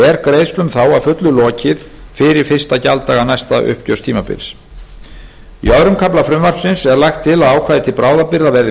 er greiðslum þá að fullu lokið fyrir fyrsta gjalddaga næsta uppgjörstímabils í öðrum kafla frumvarpsins er lagt til að ákvæði til bráðabirgða verði